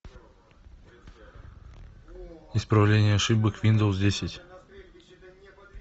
исправление ошибок виндовс десять